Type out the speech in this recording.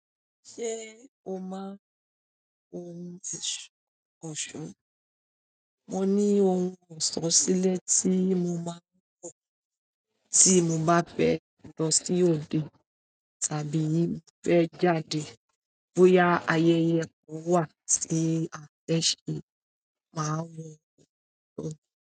Ṣé o máa ń hun ọ̀ṣun? Mo ní ohun ọ̀ṣun sílẹ̀ tí mo máa ń lò tí mo bá fẹ́ lọ sí òde tàbí mo fẹ́ jáde bóyá ayẹyẹ kan wà tí a fẹ́ ṣe, màá hun ọ̀ṣun.